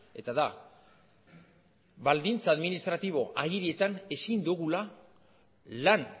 eta da baldintza administratibo agirietan ezin dugula lan